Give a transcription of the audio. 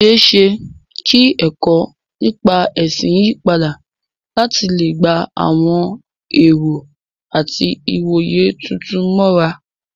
Ó ṣeé ṣe kí ẹ̀kọ́ nípa ẹ̀sìn yí padà láti lè gba àwọn ẹ̀rọ àti ìwòye tuntun mọ́ra.